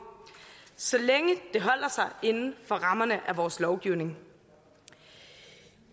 så længe det holder sig inden for rammerne af vores lovgivning